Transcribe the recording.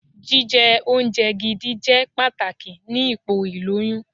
Jíjẹ oúnjẹ gidi jẹ́ pàtàkì ni ipò ìlóyún.